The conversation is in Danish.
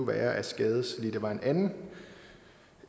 være at skadelidte var en anden